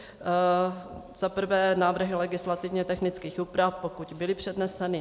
Za prvé návrhy legislativně technických úprav, pokud byly předneseny.